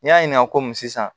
N'i y'a ɲininka komi sisan